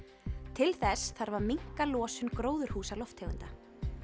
til þess þarf að minnka losun gróðurhúsalofttegunda